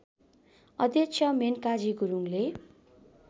अध्यक्ष मेनकाजी गुरुङले